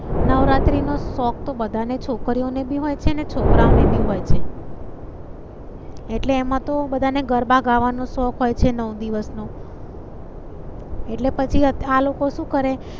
નવરાત્રી નો શોખ તો બધા ને છોકરીઓ ને ભી હોય છે ને છોકરાઓ ને ભી હોય છે. એટલે એમાં તો બધા ને ગરબા ગાવા નો શોખ હોય છે નવ દિવસ નો. એટલે પછી આ લોકો શું કરેં?